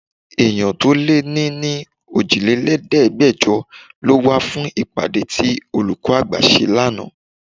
Èèyàn tó lé ní ní òjìlélẹ̀ẹ́dẹgbejọ lọ wá fún ìpàdé tí olùkọ́ àgbà ṣe lánàá.